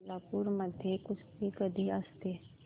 कोल्हापूर मध्ये कुस्ती कधी असते